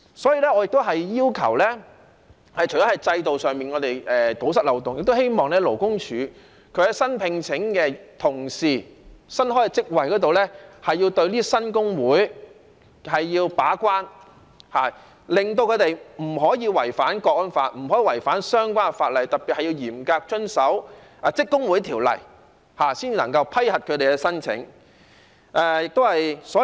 所以，我除了要求在制度上堵塞漏洞外，也希望勞工處在新聘請員工或新開職位時，要對新工會把關，令他們不能違反《香港國安法》，不能違反相關法例，特別是要嚴格遵守《職工會條例》，才能夠批核他們的申請。